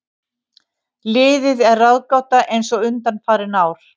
Liðið er ráðgáta eins og undanfarin ár.